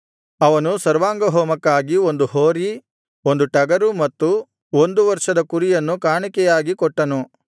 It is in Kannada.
ಅವನು ಸರ್ವಾಂಗಹೋಮಕ್ಕಾಗಿ ಒಂದು ಹೋರಿ ಒಂದು ಟಗರು ಮತ್ತು ಒಂದು ವರ್ಷದ ಕುರಿಯನ್ನು ಕಾಣಿಕೆಯಾಗಿ ಕೊಟ್ಟನು